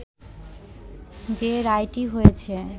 যে রায়টি হয়েছে